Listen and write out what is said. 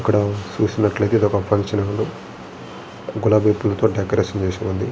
ఇక్కడ చూసినట్లయితేఇదొక function hall .గులాబీ పూలతో డెకరేషన్ చేసి ఉంది.